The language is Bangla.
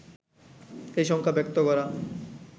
এই শঙ্কা ব্যক্ত করা